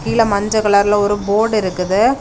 கீழ மஞ்ச கலர்ல ஒரு போர்டு இருக்குது.